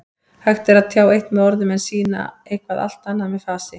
Hægt er að tjá eitt með orðum en sýna eitthvað allt annað með fasi.